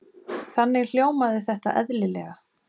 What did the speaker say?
Þannig hljómaði þetta eðlilega.